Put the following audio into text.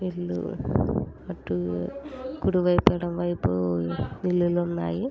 వీళ్లు అటు కుడివైపుఎడమవైపు ఇల్లున్నాయి.